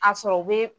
A sɔrɔ u bɛ